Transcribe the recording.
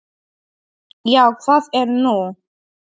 Já, hvað er nú?